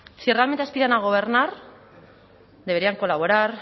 si realmente aspiran a gobernar deberían colaborar